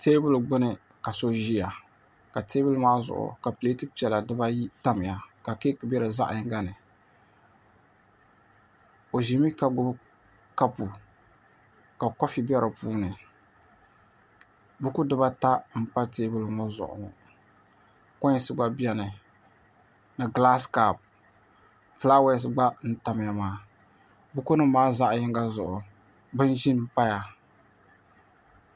Teebuli gbuni ka so ʒiya ka teebuli maa zuɣu ka pileeti piɛla diba ayi tamya ka keeki be di zaɣ' yinga ni o ʒimi ka gbubi kapu ka koofi be di puuni buku diba ata m-pa teebuli ŋɔ zuɣu kɔnsi gba beni ni gilaasi kapu bukunima maa zaɣ' yinga zuɣu bin' ʒim m-paya